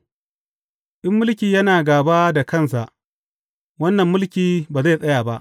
In mulki yana gāba da kansa, wannan mulki ba zai tsaya ba.